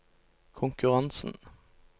konkurransen